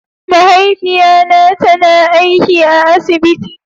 Mahaifiya na ta na aiki a asibiti.